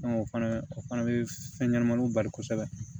o fana o fana bɛ fɛn ɲɛnɛmaniw bali kosɛbɛ